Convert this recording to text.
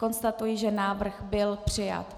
Konstatuji, že návrh byl přijat.